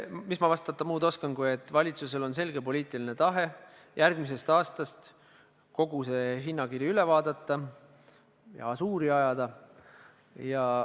Mis ma muud vastata oskan, kui et valitsusel on selge poliitiline tahe järgmisel aastal kogu see hinnakiri üle vaadata, ažuuri ajada.